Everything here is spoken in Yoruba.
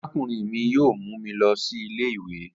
Arakunrin mi yoo mu mi lọ si ile-iwe